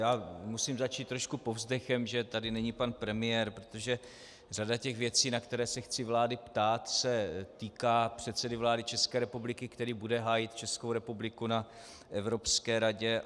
Já musím začít trošku povzdechem, že tady není pan premiér, protože řada těch věcí, na které se chci vlády ptát, se týká předsedy vlády České republiky, který bude hájit Českou republiku na Evropské radě.